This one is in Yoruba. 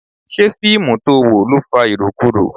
Ṣé fíìmù to wò ló fa irokuro?